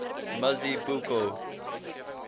mazibuko